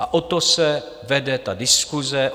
A o to se vede ta diskuse.